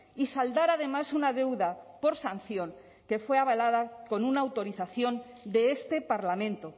y saldar además una deuda por sanción que fue avalada con una autorización de este parlamento